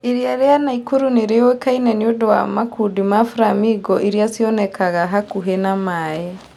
Iria rĩa Nakuru nĩ rĩũĩkaine nĩ ũndũ wa makundi ma flamingo iria cionekaga hakuhĩ na maĩ.